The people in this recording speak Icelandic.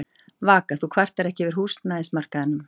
Vaka: Þú kvartar ekki yfir húsnæðismarkaðnum?